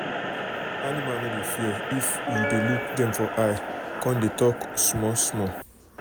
animal no dey fear if you dey look dem for eye con dey talk small small.